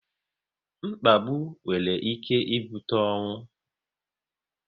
Mkpagbu nwere ike ibute ọnwụ